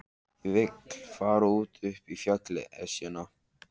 Ég vil fara út upp á fjallið, Esjuna.